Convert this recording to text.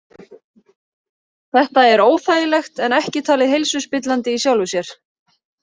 Þetta er óþægilegt en ekki talið heilsuspillandi í sjálfu sér.